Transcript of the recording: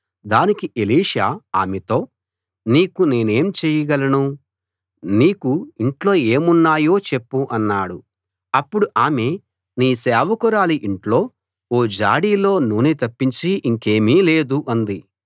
దానికి ఎలీషా ఆమెతో నీకు నేనేం చేయగలను నీకు ఇంట్లో ఏమున్నాయో చెప్పు అన్నాడు అప్పుడు ఆమె నీ సేవకురాలి ఇంట్లో ఓ జాడీలో నూనె తప్పించి ఇంకేమీ లేదు అంది